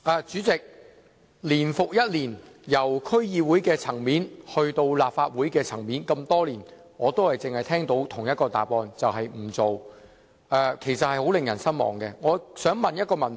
主席，年復一年，由區議會層面到立法會層面，這麼多年來，我只是聽到政府的同一個答覆，便是不處理，令人相當失望。